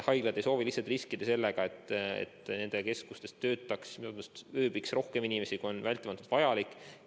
Haiglad ei soovi lihtsalt riskida ega taha, et nende keskustes ööbiks rohkem inimesi, kui on vältimatult vajalik.